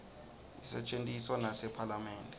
isetjentiswa nasephalamende